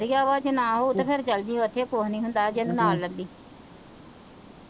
ਵਧੀਆ ਵਾਂ ਜੇ ਨਾਂ ਹੋ ਤਾਂ ਫੇਰ ਚੱਲ ਜੀ ਓਥੇ ਕੁਝ ਨੀ ਹੁੰਦਾ ਅਜੇ ਨੂੰ ਨਾਲ ਲੇਲੀ,